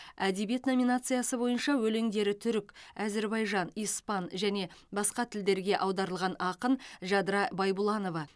әдебиет номинациясы бойынша өлеңдері түрік әзірбайжан испан және басқа тілдерге аударылған ақын жадыра байбұланова